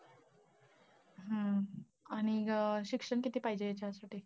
हा आणि अं शिक्षण किती पाहिजे त्यासाठी?